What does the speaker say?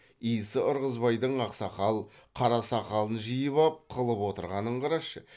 исі ырғызбайдың ақсақал қарасақалын жиып ап қылып отырғанын қарашы